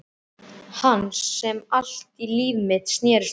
Hans sem allt líf mitt snerist um.